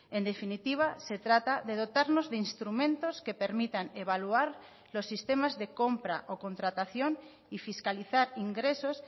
en definitiva se trata de dotarnos de instrumentos que permitan evaluar los sistemas de compra o contratación y fiscalizar ingresos